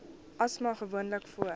asma gewoonlik voor